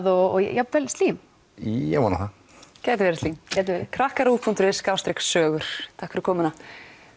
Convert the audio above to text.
og jafnvel slím ég vona það gæti verið slím krakkaRÚV punktur is sögur takk fyrir komuna